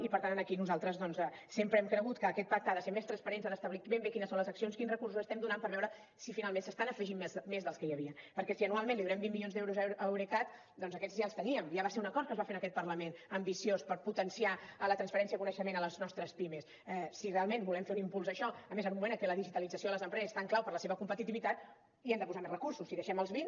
i per tant aquí nosaltres doncs sempre hem cregut que aquest pacte ha de ser més transparent ha d’establir ben bé quines són les accions quins recursos estem donant per veure si finalment se n’estan afegint més dels que hi havia perquè si anualment li donem vint milions d’euros a eurecat doncs aquests ja els teníem ja va ser un acord que es va fer en aquest parlament ambiciós per potenciar la transferència de coneixement a les nostres pimes si realment volem fer un impuls a això a més en un moment en què la digitalització de les empreses és tan clau per la seva competitivitat hi hem de posar més recursos si hi deixem els vint